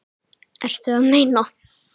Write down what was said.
Ertu að meina.?